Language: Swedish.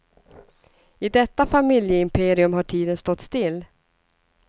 I detta familjeimperium har tiden stått still.